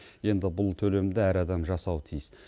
енді бұл төлемді әр адам жасауы тиіс